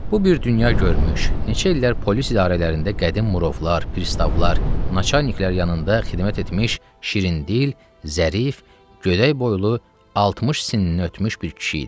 Bu bir dünya görmüş, neçə illər polis idarələrində qədim murovlar, pristavlar, naçalniklər yanında xidmət etmiş şirindil, zərif, gödək boylu, 60 sinnini ötmüş bir kişi idi.